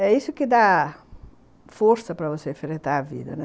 É isso que dá força para você enfrentar a vida, né?